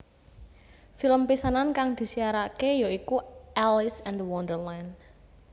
Film pisanan kang disiarake ya iku Alice and The Wonderland